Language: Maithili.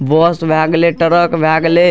बस भए गेलय ट्रक भए गेलय।